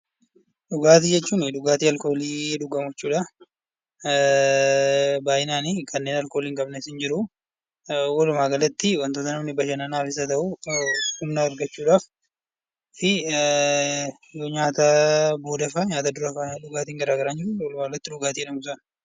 Dhugaatii jechuun dhugaatii alkoolii dhugamu jechuudha. Baay'inaan kanneen alkoolii hin qabnes ni jiru. Walumaa galatti wantoota namni bashannanaafis haa ta'uu humna argachuu fi nyaata booda duras fayyadamanidha